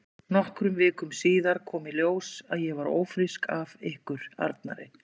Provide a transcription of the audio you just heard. Nokkrum vikum síðar kom í ljós að ég var ófrísk af ykkur Arnari.